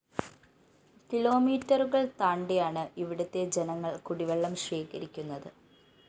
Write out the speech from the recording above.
കിലോമീറ്ററുകള്‍ താണ്ടിയാണ് ഇവിടുത്തെ ജനങ്ങള്‍ കുടിവെള്ളം ശേഖരിക്കുന്നത്